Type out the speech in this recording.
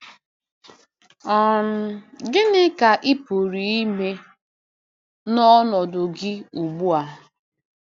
um Gịnị ka ị pụrụ ime n’ọnọdụ gị ugbu a?